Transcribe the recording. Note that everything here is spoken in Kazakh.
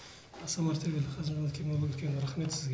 аса мәртебелі қасым жомарт кемелұлы үлкен рахмет сізге